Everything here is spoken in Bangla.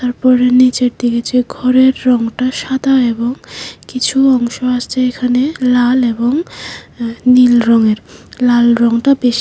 তারপরে নীচের দিকে যে ঘরের রংটা সাদা এবং কিছু অংশ আছে এখানে লাল এবং নীল রঙের লাল রংটা বেশি।